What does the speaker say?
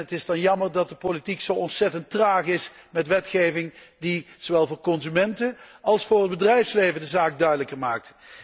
Het is dan jammer dat de politiek zo ontzettend traag is met wetgeving, die zowel voor consumenten als voor het bedrijfsleven de zaak duidelijker maakt.